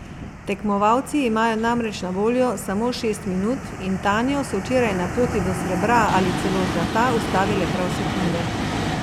Tekmovalci imajo namreč na voljo samo šest minut in Tanjo so včeraj na poti do srebra ali celo zlata ustavile prav sekunde.